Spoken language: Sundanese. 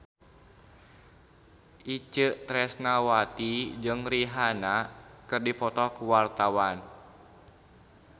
Itje Tresnawati jeung Rihanna keur dipoto ku wartawan